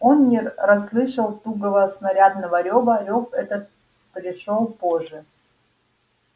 он не расслышал тугого снарядного рёва рёв этот пришёл позже